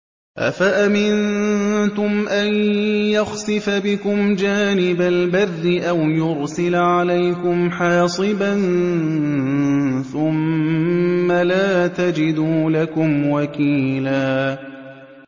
أَفَأَمِنتُمْ أَن يَخْسِفَ بِكُمْ جَانِبَ الْبَرِّ أَوْ يُرْسِلَ عَلَيْكُمْ حَاصِبًا ثُمَّ لَا تَجِدُوا لَكُمْ وَكِيلًا